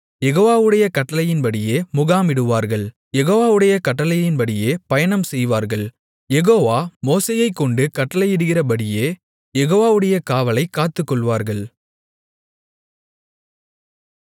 யெகோவாவுடைய கட்டளையின்படியே முகாமிடுவார்கள் யெகோவாவுடைய கட்டளையின்படியே பயணம் செய்வார்கள் யெகோவா மோசேயைக்கொண்டு கட்டளையிடுகிறபடியே யெகோவாவுடைய காவலைக் காத்துக்கொள்வார்கள்